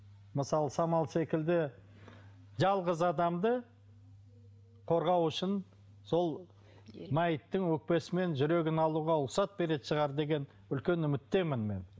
мысалы самал секілді жалғыз адамды қорғау үшін сол мәйіттің өкпесі мен жүрегін алуға рұқсат беретін шығар деген үлкен үміттемін мен